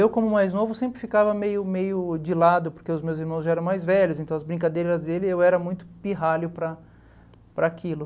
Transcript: Eu, como mais novo, sempre ficava meio meio de lado, porque os meus irmãos já eram mais velhos, então as brincadeiras dele, eu era muito pirralho para para aquilo.